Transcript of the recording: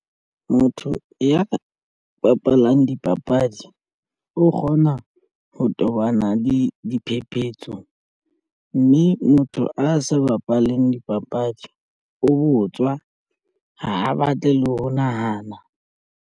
Motho ya bapalang dipapadi o kgona ho tobana le diphephetso mme motho a sa bapaleng dipapadi o botswa ha a batle le ho nahana.